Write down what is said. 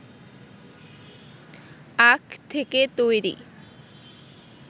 আখ থেকে তৈরি